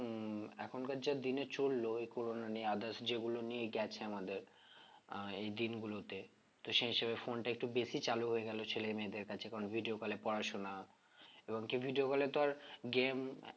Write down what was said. উম এখনকার যে দিনে চললো এই করোনা নিয়ে others যেগুলো নিয়ে গেছে আমাদের আহ এই দিনগুলোতে তো সেই হিসেবে phone টা একটু বেশি চালু হয়ে গেল ছেলেমেয়েদের কাছে কারণ video call এ পড়াশোনা এবং কি video call এ তো আর game